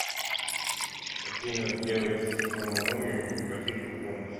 афина сделать самому или попросить о помощи